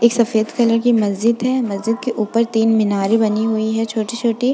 एक सफ़ेद कलर की मस्जिद है। मस्जिद के ऊपर तीन मीनारें बनी हुई हैं छोटी छोटी।